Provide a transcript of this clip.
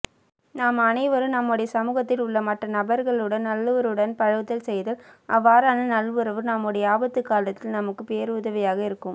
நாம் அனைவரும் நம்முடைய சமூகத்தில் உள்ளமற்றநபர்களுடன் நல்லுறவுடன் பழகுதல் செய்தால் அவ்வாறான நல்லுறவு நம்முடைய ஆபத்துகாலத்தில் நமக்கு பேருதவியாக இருக்கும்